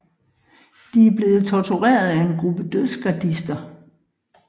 De er blevet tortureret af en gruppe Dødsgardister